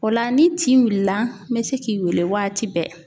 O la ni tin wulila n bɛ se k'i wele waati bɛɛ.